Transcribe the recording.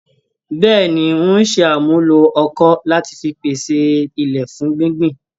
Bẹ́ẹ̀ni, ń ò ṣe àmúlò ọkọ́ lati fi pese ilẹ̀ fún gbíngbìn